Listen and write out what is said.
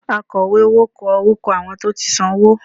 Àkọ̀wé owó kọ orúkọ àwọn tó ti san owó